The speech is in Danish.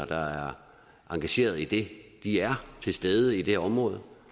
der er engageret i det er til stede i det område